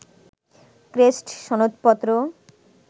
crest, সনদপত্র